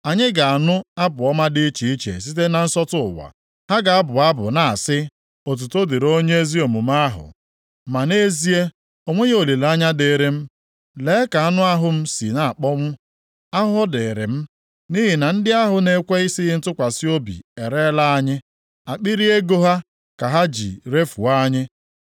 Anyị ga-anụ abụ ọma dị iche iche site na nsọtụ ụwa. Ha ga-abụ abụ na-asị, “Otuto dịrị Onye ezi omume ahụ.” Ma nʼezie, o nweghị olileanya dịịrị m. “Lee ka anụ ahụ m si na-akpọnwụ! Ahụhụ dịrị m! Nʼihi na ndị ahụ na-ekwesighị ntụkwasị obi ereela anyị. Akpịrị ego ha ka ha ji refuo anyị.”